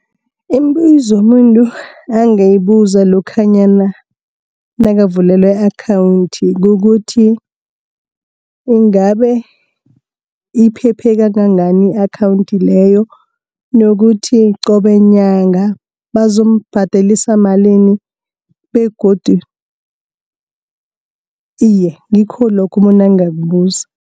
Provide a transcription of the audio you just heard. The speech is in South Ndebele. Imibuzo umuntu angayibuza lokhanyana nakavulela i-akhawunthi kokuthi ingabe iphephe kangangani i-akhawunthi leyo, nokuthi qobe nyanga bazombhadelisa malini begodu iye, ngikho lokho umuntu angakubuza.